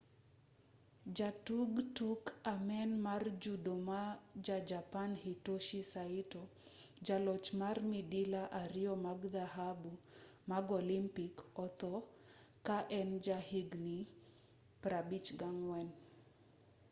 jatug tuk amen mar judo ma ja-japan hitoshi saito jaloch mar midila ariyo mag dhahabu mag olympic otho ka en ja higni 54